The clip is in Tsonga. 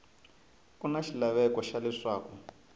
ku na xilaveko xa leswaku